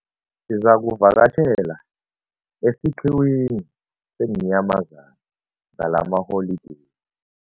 Sizakuvakatjhela esiqhiwini seenyamazana ngalamaholideyi.